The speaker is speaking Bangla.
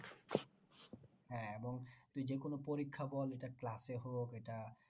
হ্যাঁ এবং তুই যে কোনো পরীক্ষা বল এটা class এ হোক এটা